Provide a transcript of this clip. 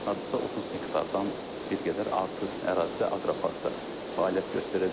Hardasa 30 hektardan bir qədər artıq ərazidə aqroparkda fəaliyyət göstərəcək.